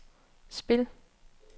spil